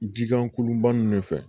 Jikan kolonba ninnu de fɛ